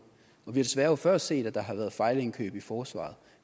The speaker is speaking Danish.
og vi desværre før set at der har været fejlindkøb i forsvaret